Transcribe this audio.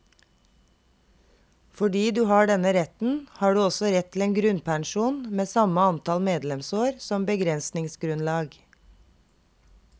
Fordi du har denne retten, har du også rett til en grunnpensjon med samme antall medlemsår som beregningsgrunnlag.